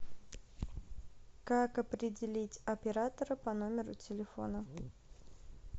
как определить оператора по номеру телефона